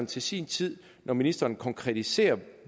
til sin tid når ministeren konkretiserer